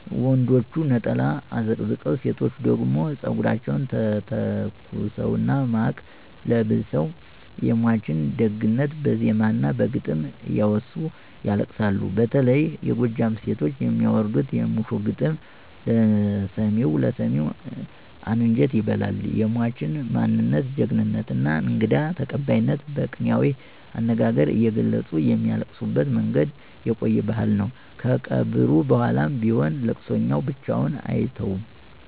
ወንዶቹ ነጠላ አዘቅዝቀው፣ ሴቶቹ ደግሞ ፀጉራቸውን ተተኩሰውና ማቅ ለብሰው የሟችን ደግነት በዜማና በግጥም እያወሱ ያለቅሳሉ። በተለይ የጎጃም ሴቶች የሚያወርዱት "የሙሾ ግጥም" ለሰሚው አንጀት ይበላል፤ የሟችን ማንነት፣ ጀግንነትና እንግዳ ተቀባይነት በቅኔያዊ አነጋገር እየገለጹ የሚያለቅሱበት መንገድ የቆየ ባህል ነው። ከቀብሩ በኋላም ቢሆን ለቅሶተኛው ብቻውን አይተውም።